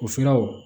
O siraw